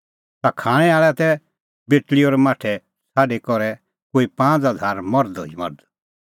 ता खाणैं आल़ै तै बेटल़ी और माठै छ़ाडी करै कोई पांज़ हज़ार मर्ध ई मर्ध